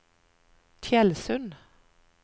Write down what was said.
Tjeldsund